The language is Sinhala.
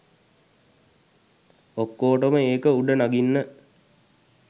ඔක්කෝටම ඒක උඩ නඟින්න